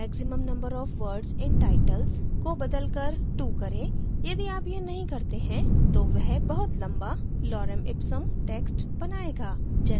maximum number of words in titles को बदलकर 2 करें यदि आप यह नहीं करते हैं तो वह बहुत लम्बा lorem ipsum text बनाएगा